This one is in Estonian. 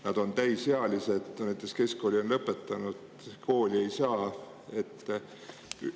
Nad on täisealised, näiteks keskkooli lõpetanud, aga kooli sisse ei saa.